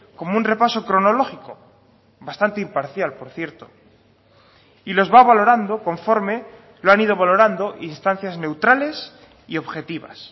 como un repaso cronológico bastante imparcial por cierto y los va valorando conforme lo han ido valorando instancias neutrales y objetivas